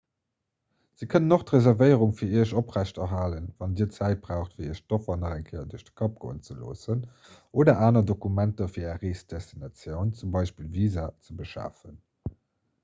se kënnen och d'reservéierung fir iech oprechthalen wann dir zäit braucht fir iech d'offer nach eng kéier duerch de kapp goen ze loossen oder aner dokumenter fir är reesdestinatioun z. b. visa ze beschafen